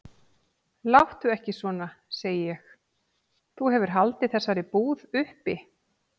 Láttu ekki svona, segi ég, þú hefur haldið þessari búð uppi.